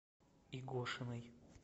игошиной